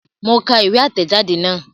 Mo ka ìwé àtẹ̀jadé náà